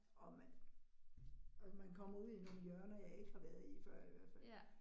Og man og man kommer ud i nogle hjørner, jeg ikke har været i før i hvert fald